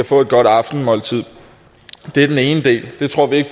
få et godt aftensmåltid det er den ene del det tror vi